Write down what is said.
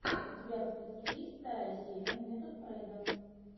у тебя в списке есть вторая серия метод фрейда